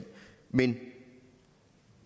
men